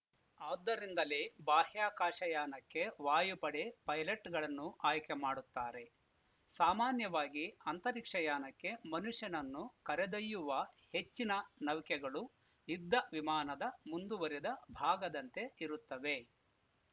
ಆದ್ದರಿಂದಲೇ ಬಾಹ್ಯಾಕಾಶಯಾನಕ್ಕೆ ವಾಯುಪಡೆ ಪೈಲಟ್‌ಗಳನ್ನು ಆಯ್ಕೆ ಮಾಡುತ್ತಾರೆ ಸಾಮಾನ್ಯವಾಗಿ ಅಂತರಿಕ್ಷಯಾನಕ್ಕೆ ಮನುಷ್ಯನನ್ನು ಕರೆದೊಯ್ಯುವ ಹೆಚ್ಚಿನ ನೌಕೆಗಳು ಯುದ್ಧವಿಮಾನದ ಮುಂದುವರಿದ ಭಾಗದಂತೆ ಇರುತ್ತವೆ